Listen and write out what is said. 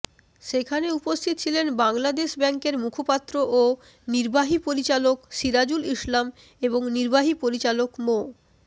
সেখানে উপস্থিত ছিলেন বাংলাদেশ ব্যাংকের মুখপাত্র ও নির্বাহী পরিচালক সিরাজুল ইসলাম এবং নির্বাহী পরিচালক মো